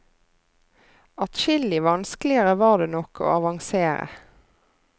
Atskillig vanskeligere var det nok å avansere.